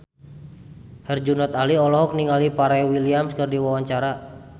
Herjunot Ali olohok ningali Pharrell Williams keur diwawancara